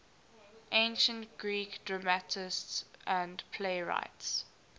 ancient greek dramatists and playwrights